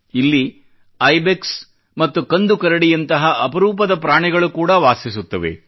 ಇಲ್ಲಿ ಐಬೆಕ್ಸ್ ಮತ್ತು ಕಂದು ಕರಡಿಯಂತಹ ಅಪರೂಪದ ಪ್ರಾಣಿಗಳು ಕೂಡಾ ವಾಸಿಸುತ್ತವೆ